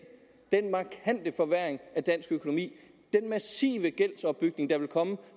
den markante forværring af dansk økonomi den massive gældsopbygning der vil komme